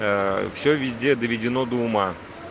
всё везде доведено до ума